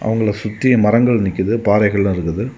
இவங்கள சுத்தி மரங்கள் நிக்குது பாறைகள் இருக்குது.